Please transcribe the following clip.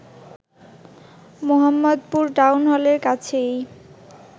Mohammadpur town হলের কাছেই